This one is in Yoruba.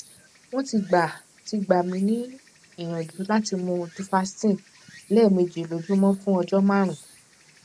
wọn ti gbà ti gbà mí níyànjú láti mú duphaston lẹẹméjì lójúmọ fún ọjọ márùnún